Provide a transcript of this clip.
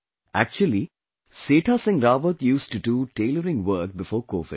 Actually, Setha Singh Rawat used to do tailoring work before Covid